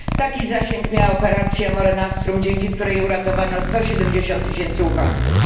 Taki zasięg miała operacja MARE NOSTRUM, dzięki której uratowano 170 tys. uchodźców.